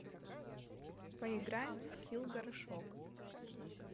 поиграем в скилл горшок